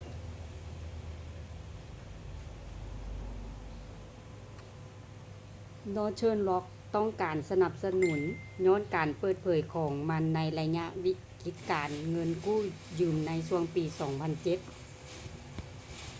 northern rock ຕ້ອງການການສະໜັບສະໜູນຍ້ອນການເປີດເຜີຍຂອງມັນໃນໄລຍະວິກິດການເງິນກູ້ຢືມໃນຊ່ວງປີ 2007